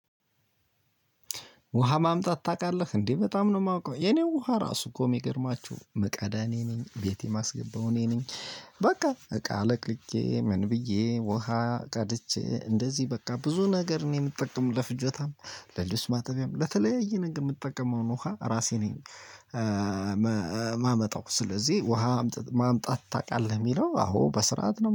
ውሃ ማምጣት ታቃለህ እንዴ? በጣም ነው ማውቀው የኔን ውሃ ራሱ እኮ ሚገርማችሁ ምቀዳ እኔ ነኝ ቤቴ ማስገባው እኔ ነኝ። በቃ እቃ አለቅልቄ ምን? ብዬ ውሃ ቀድቼ እንደዚህ በቃ ብዙ ነገር ነው የምጠቀመው ለፍጆታም ለልብስ ማጠቢያም ለተለያየ ነገር ምጠቀመውን ውሃ እራሴ ነኝ። መ ማመጣው ስለዚህ ውሃ አምጥ ማምጣት ታቃለህ? ሚለው አዎ በስርዓት ነው